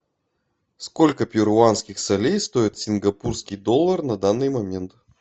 сколько перуанских солей стоит сингапурский доллар на данный момент